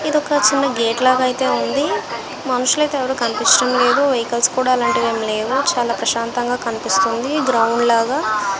ఇది ఒక చిన్న గేటు లాగా అయితే ఉంది. మనషులు అయితే ఎవరు కనిపించడం లేదు. వెహికల్స్ కూడా అలంటీవీ ఏమి లేవు చాలా ప్రశాంతంగా కనిపిస్తుంది గ్రామంలాగా --